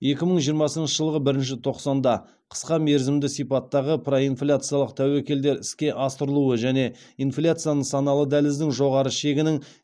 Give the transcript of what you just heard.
екі мың жиырмасыншы жылғы бірінші тоқсанда қысқа мерзімді сипаттағы проинфляциялық тәуекелдер іске асырылуы және инфляция нысаналы дәліздің жоғары шегінің